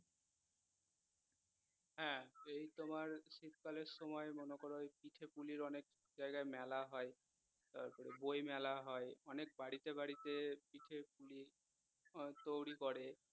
হ্যা এই তোমার শীতকালে সময় মনেকর পিঠাপুলির অনেক জায়গায় মেলা হয় তারপর বইমেলা হয় অনেক বাড়িতে বাড়িতে পিঠাপুলি উম তৈরী করে